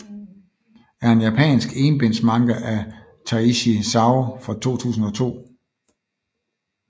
er en japansk enbinds manga af Taishi Zaou fra 2002